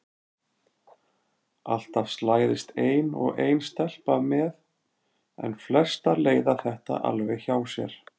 Alltaf slæðist ein og ein stelpa með en flestar leiða þetta alveg hjá sér.